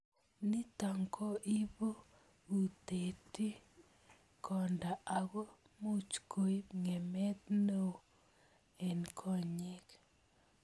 Nitok ko ipo utet ing konda ako much koip ngemet neo ing konyek.